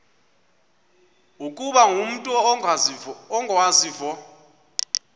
ukuba umut ongawazivo